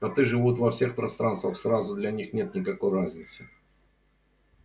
коты живут во всех пространствах сразу для них нет никакой разницы